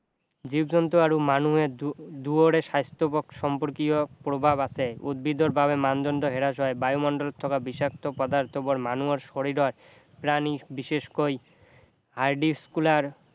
জীৱ-জন্তু আৰু মানুহে দুয়ৰে স্বাস্থ্য সম্পৰ্কীয় প্ৰভাৱ আছে উদ্ভিদৰ বাবে মানদণ্ড হ্ৰাস হয় বায়ুমণ্ডলত থকা বিষাক্ত পদাৰ্থবোৰ মানুহৰ শৰীৰৰ প্ৰাণী বিশেষকৈ